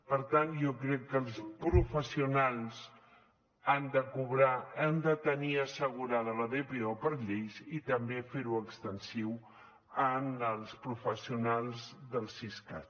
per tant jo crec que els professionals han de cobrar han de tenir assegurada la dpo per llei i també fer ho extensiu als professionals del siscat